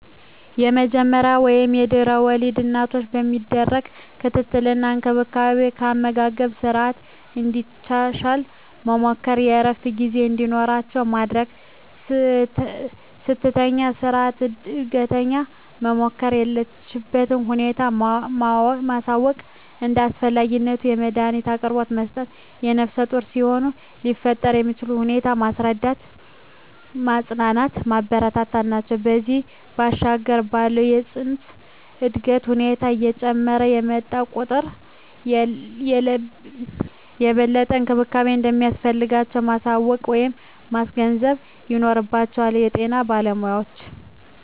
የመጀመሪያ ወይም ለድሕረ ወሊድ እናቶች የሚደረግ ክትትል እና እንክብካቤ የአመጋገብ ስረዓትን እንድታሻሽል መምከር፣ የእረፍት ጊዜ እንዲኖራት ማድረግ፣ ስትተኛ በስረዓት እንድትተኛ መምከር፣ የለችበትን ሁኔታ ማሳወቅ፣ እንደ አስፈላጊነቱ የመዳኒት አቅርቦት መስጠት፣ ነፍሰጡር ሲሆኑ ሊፈጠር የሚችለውን ሁኔታ ማስረዳት፣ ማፅናናት፣ ማበረታታት ናቸው። ከዚያ ባሻገር ባለው የፅንሱ የእድገት ሁኔታ እየጨመረ በመጣ ቁጥር የበለጠ እንክብካቤ እንደሚያስፈልጋቸው ማሳወቅ ወይም ማስገንዘብ ይኖርባቸዋል የጤና ባለሞያዎች።